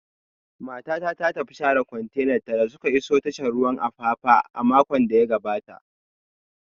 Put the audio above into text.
Matata ta tafi share kwantenanta da suka isa tashar ruwan Apapa a makon da ya gabata